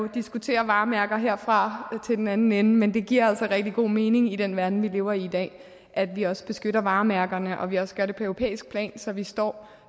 diskutere varemærker herfra og til den anden ende men det giver altså rigtig god mening i den verden vi lever i i dag at vi også beskytter varemærkerne og at vi også gør det på europæisk plan så vi står